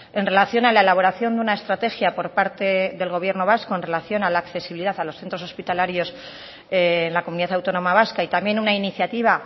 en relación a la elaboración de una estrategia por parte del gobierno vasco en relación a la accesibilidad a los centros hospitalarios en la comunidad autónoma vasca y también una iniciativa